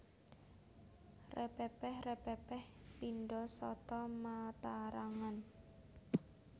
Repepeh repepeh pindha sata matarangan